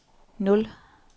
nul